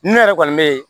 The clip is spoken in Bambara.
Ne yɛrɛ kɔni bɛ